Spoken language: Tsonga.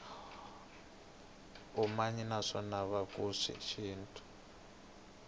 umanyi naskhathele vatlanga shintu